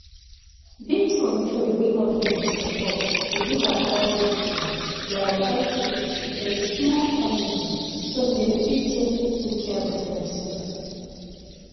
birthcontrol wey government dey support dey advice pipo dey advice pipo to get small family so dem fit take good care of dem self